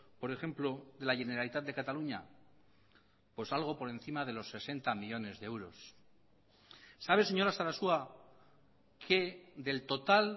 por ejemplo de la generalitat de cataluña pues algo por encima de los sesenta millónes de euros sabe señora sarasua que del total